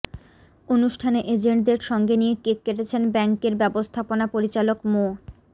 অনুষ্ঠানে এজেন্টদের সঙ্গে নিয়ে কেক কেটেছেন ব্যাংকের ব্যবস্থাপনা পরিচালক মো